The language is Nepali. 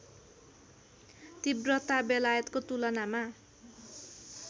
तिव्रता बेलायतको तुलनामा